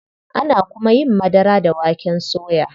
Ana kuma yin madara da waken soya.